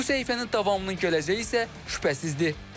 Bu səhifənin davamlı gələcəyi isə şübhəsizdir.